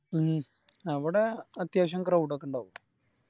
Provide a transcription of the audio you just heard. ഉം അവിടെ അത്യാവശ്യം Crowed ഒക്കെ ഇണ്ടാവും